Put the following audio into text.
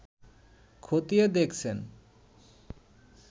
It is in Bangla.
খতিয়ে দেখছেন